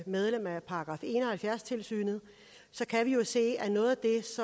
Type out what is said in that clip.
medlemmer af § en og halvfjerds tilsynet så kan vi jo se at noget